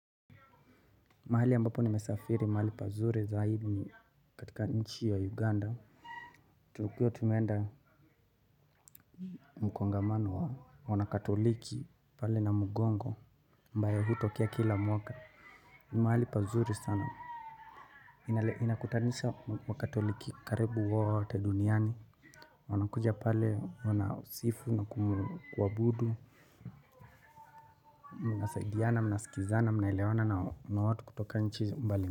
Mahali ambapo nime safiri mahali pazuri zaidi katika nchi ya Uganda tulikua tumeenda mkongamano wa wanakatoliki pale Namugongo ambayo hutokea kila mwaka ni mahali pazuri sana inakutanisha wakatoliki karibu wote duniani wanakuja pale wana sifu na kuabudu, mnasaidiana, mnasikizana, mnaelewana na watu kutoka nchi mbali.